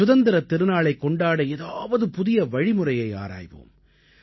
சுதந்திரத் திருநாளைக் கொண்டாட ஏதாவது புதிய வழிமுறையை ஆராய்வோம்